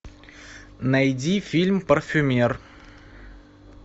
найди фильм парфюмер